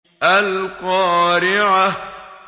الْقَارِعَةُ